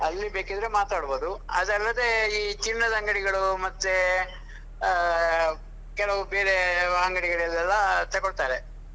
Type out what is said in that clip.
ಅಲ್ಲಿ ಬೇಕಿದ್ರೆ ಮಾತಾಡ್ಬೋದು. ಅದಲ್ಲದೆ ಈ ಚಿನ್ನದ ಅಂಗಡಿಗಳು ಮತ್ತೆ ಆಹ್ ಕೆಲವು ಬೇರೆ ಅಂಗಡಿಗಳೆಲ್ಲಾ ತಗೋಳ್ತಾರೆ.